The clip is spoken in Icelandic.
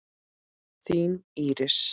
Þín, Íris.